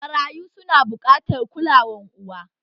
Marayu su na buƙatar kulawan uwa